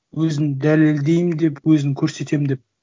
өзін дәлелдеймін деп өзін көрсетемін деп